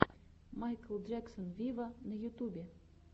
майкл джексон виво на ютубе